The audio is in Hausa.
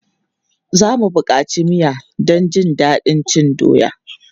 Za mu buƙaci miya don jin daɗin cin doya.